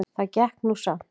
Það gekk nú samt